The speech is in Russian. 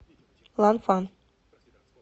ланфан